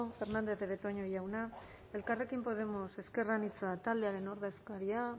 fernandez de betoño jauna elkarrekin podemos ezker anitza taldearen ordezkaria